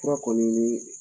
Fura kɔni ni